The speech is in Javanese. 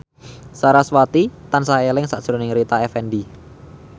sarasvati tansah eling sakjroning Rita Effendy